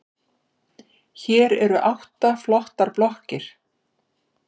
Fer hún ekki að koma í heimsókn?